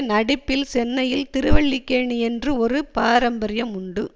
நடிப்பில் சென்னையில் திருவல்லிக்கேணிக் என்று ஒரு பாரம்பரியம் உண்டு